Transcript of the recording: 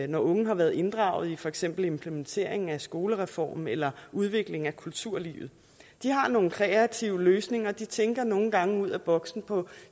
når unge har været inddraget i for eksempel implementeringen af skolereformen eller udvikling af kulturlivet de har nogle kreative løsninger de tænker nogle gange ud af boksen på